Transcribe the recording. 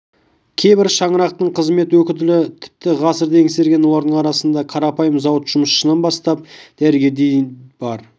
кейбір шаңырақтың қызмет өтілі тіпті ғасырды еңсерген олардың арасында қарапайым зауыт жұмысшысынан бастап дәрігерге дейін бар